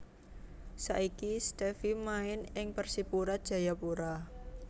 Saiki Stevie main ing Persipura Jayapura